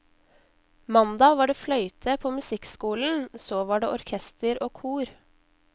Mandag var det fløyte på musikkskolen, så var det orkester og kor.